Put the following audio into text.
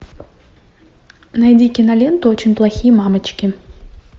найди киноленту очень плохие мамочки